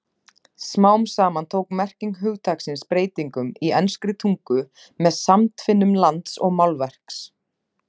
Smám saman tók merking hugtaksins breytingum í enskri tungu með samtvinnun lands og málverks.